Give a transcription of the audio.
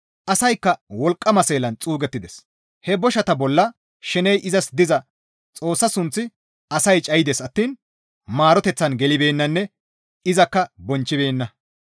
Asaykka wolqqama seelan xuugettides; he boshata bolla sheney izas diza Xoossaa sunth asay cayides attiin maaroteththan gelibeennanne izakka bonchchibeenna.